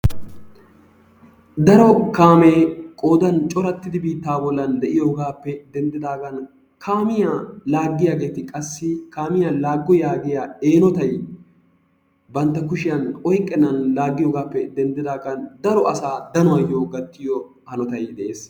daro kaamee biittan coratidi de'iyoogaappe denddidaagan kaamiya laagiyaageeti qassi kaamiya laago yaagiya eenotay banta kushiyan oyqennan laagioyoogaappe denddidaagan dario asaa danuwayo gattiyo hanotay de'ees.